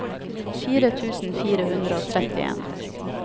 fire tusen fire hundre og trettien